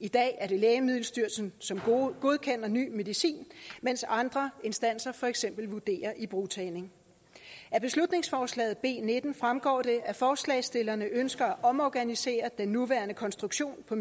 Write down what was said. i dag er det lægemiddelstyrelsen som godkender ny medicin mens andre instanser for eksempel vurderer ibrugtagning af beslutningsforslag b nitten fremgår det at forslagsstillerne ønsker at omorganisere den nuværende konstruktion på